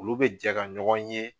Olu bɛ jɛ ka ɲɔgɔn ye